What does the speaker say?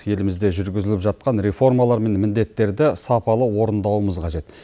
елімізде жүргізіліп жатқан реформалар мен міндеттерді сапалы орындауымыз қажет